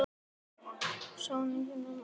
Þó hann væri hér.